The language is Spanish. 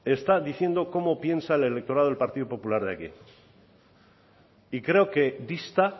está diciendo cómo piensa el electorado del partido popular de aquí y creo que dista